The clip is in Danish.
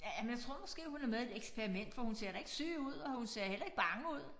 Ja ja men jeg tror måske hun er med i et eksperiment for hun ser da ikke syg ud og hun ser heller ikke bange ud